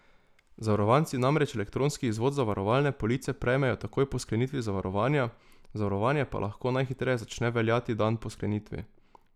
Zavarovanci namreč elektronski izvod zavarovalne police prejmejo takoj po sklenitvi zavarovanja, zavarovanje pa lahko najhitreje začne veljati dan po sklenitvi.